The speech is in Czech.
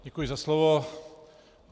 Děkuji za slovo.